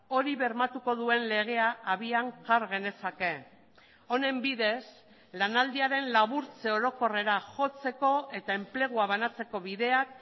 hori bermatuko duen legea abian jar genezake honen bidez lanaldiaren laburtze orokorrera jotzeko eta enplegua banatzeko bideak